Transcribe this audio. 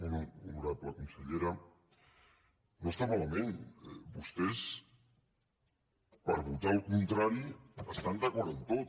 molt honorable consellera no està malament vostès per votar el contrari estan d’acord en tot